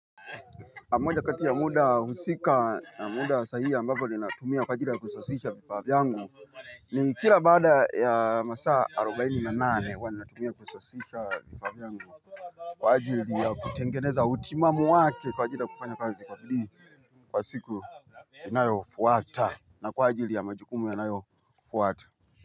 Moja kati ya muda husika na muda sahihi ambapo ninatumia kwa ajili ya kusasisha vifaa vyangu, ni kila baada ya masaa arobaini na nane huwa natumia kusasisha vifaa vyangu. Kwa ajili ya kutengeneza utimamu wake kwa ajili ya kufanya kazi kwa bidii kwa siku inayofuata, na kwa ajili ya majukumu yanayofuata.